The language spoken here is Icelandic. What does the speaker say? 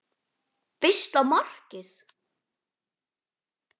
Fyrsta markið?